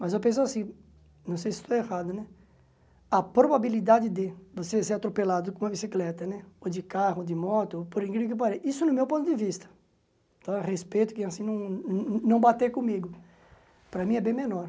Mas eu penso assim, não sei se estou errado né, a probabilidade de você ser atropelado com uma bicicleta né, ou de carro, ou de moto, por incrível que pareça, isso no meu ponto de vista, tá respeito quem assim não não bater comigo, para mim é bem menor.